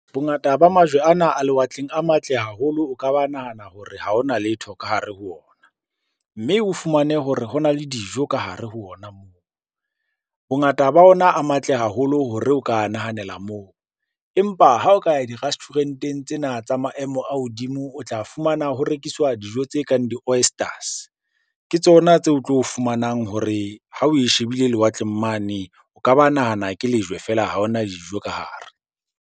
Bongata ba majwe ana a lewatleng a matle haholo, o ka ba nahana hore ha hona letho ka hare ho ona. Mme o fumane hore hona le dijo ka hare ho ona moo. Bongata ba ona a matle haholo hore o ka a nahanela moo, empa ha o ka di-restaurant-eng tsena tsa maemo a hodimo o tla fumana ho rekiswa dijo tse kang di-oysters. Ke tsona tseo o tlo fumanang hore ha oe shebile lewatleng mane, o ka ba nahana ke lejwe feela ha hona dijo ka hare.